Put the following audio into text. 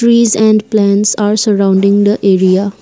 trees and plants are surrounding the area.